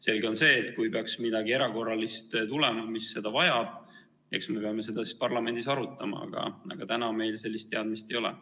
Selge on see, et kui peaks midagi erakorralist tulema, mis seda vajab, eks me peame seda siis parlamendis arutama, aga täna meil sellist teadmist ei ole.